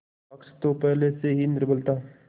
पक्ष तो पहले से ही निर्बल था